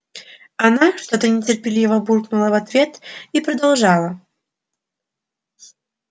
она что-то нетерпеливо буркнула в ответ и продолжала